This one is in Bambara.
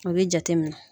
A bɛ jate minɛ